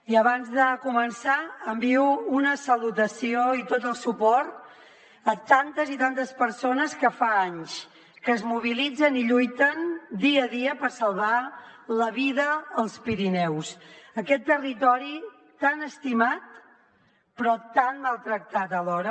i abans de començar envio una salutació i tot el suport a tantes i tantes persones que fa anys que es mobilitzen i lluiten dia a dia per salvar la vida als pirineus aquest territori tan estimat però tan maltractat alhora